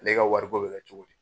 Ne ka wariko bɛ cogo di.